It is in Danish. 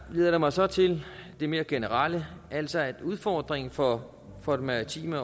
leder mig så til det mere generelle altså at udfordringen for for det maritime